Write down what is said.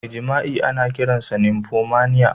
Mai jima'i ana kiransa "nymphomania".